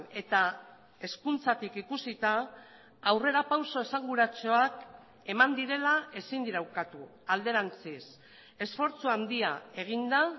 eta hezkuntzatik ikusita aurrerapauso esanguratsuak eman direla ezin dira ukatu alderantziz esfortzu handia egin da